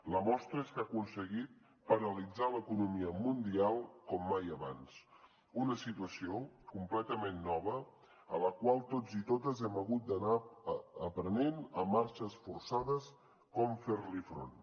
la mostra és que ha aconseguit paralitzar l’economia mundial com mai abans una situació completament nova a la qual tots i totes hem hagut d’anar aprenent a marxes forçades a com fer hi front